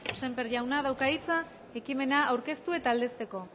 sémper jauna dauka hitza ekimena aurkeztu eta aldezteko